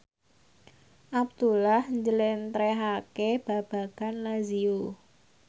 Abdullah njlentrehake babagan Lazio